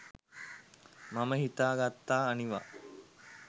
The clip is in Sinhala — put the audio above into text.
මම හිතා ගත්තා අනිවා